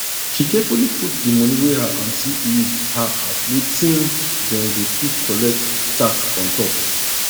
she carefully put di money wey her auntie leave her as wetim dem go fit collect tax on top